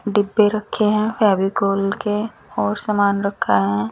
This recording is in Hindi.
डिब्बे रखे है फेविकोल के और समान रखा है।